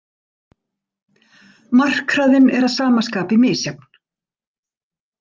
Markhraðinn er að sama skapi misjafn.